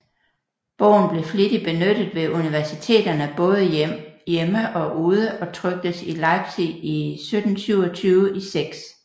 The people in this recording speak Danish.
Bogen blev flittig benyttet ved Universiteterne baade hjemme og ude og tryktes i Leipzig 1727 i 6